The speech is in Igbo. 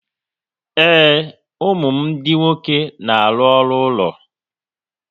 Ee, ụmụ m ndị nwoke na-arụ ọrụ ụlọ